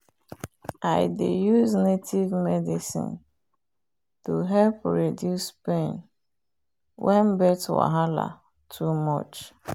i dey use native medicine to help reduce pain when birth wahala too much.